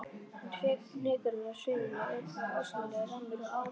Fnykurinn af sviðinni ull var ólýsanlegur, rammur og áleitinn.